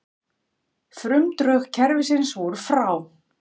Frumdrög kerfisins voru frá